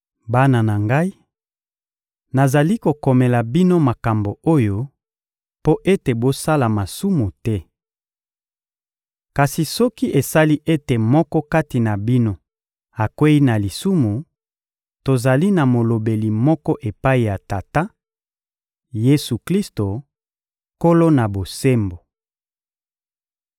Bana na ngai, nazali kokomela bino makambo oyo mpo ete bosala masumu te. Kasi soki esali ete moko kati na bino akweyi na lisumu, tozali na Molobeli moko epai ya Tata: Yesu-Klisto, Nkolo-Na-Bosembo.